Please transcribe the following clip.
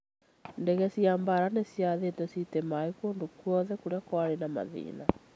Ndege cia mbaara nĩ ciathĩtwo cite maaĩ kũndũ guothe kũrĩa kwari na mathĩna